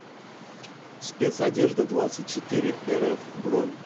спецодеждадвадцатьчетыреэрэф бронь